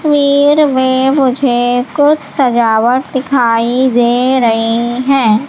तस्वीर में मुझे कुछ सजावट दिखाई दे रही हैं।